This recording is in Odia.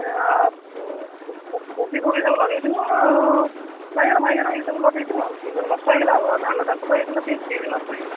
ଏ ଉଁ କୋବି ଫୋବି ସବୁ ଲଗେଇଥିଲୁ ଆଉ ବାଇଗଣ ଫାଇଗଣ ସବୁ ଏଇସବୁ ଲଗେଇଥିଲୁ ଆଉ ସେସବୁ ନଷ୍ଟ ହେଇଗଲା ଆଉ ଧାନ ଚାଷ ତ ହେଇଥିଲା ସିଏ ବି ନଷ୍ଟ ହେଇଗଲା।